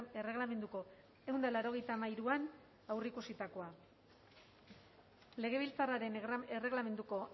erregelamenduko ehun eta laurogeita hamairuan aurreikusitakoa legebiltzarraren erregelamenduko